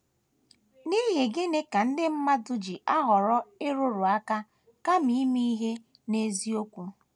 N’ihi gịnị ka ndị mmadụ ji ahọrọ ịrụrụ aka kama ime ihe n’eziokwu?